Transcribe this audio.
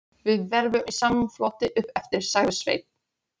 Við verðum í samfloti uppeftir, sagði Sveinn.